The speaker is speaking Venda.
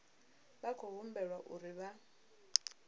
vha khou humbelwa uri vha